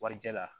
Warijɛ la